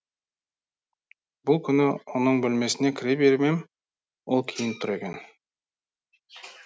бір күні оның бөлмесіне кіре беріп ем ол киініп тұр екен